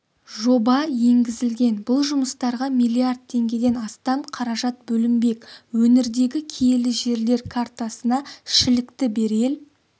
жоба енгізілген бұл жұмыстарға миллиард теңгеден астам қаражат бөлінбек өңірдегі киелі жерлер картасына шілікті берел